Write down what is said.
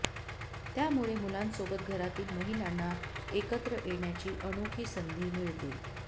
त्यामुळे मुलांसोबत घरातील महिलांना एकत्र येण्याची अनोखी संधी मिळते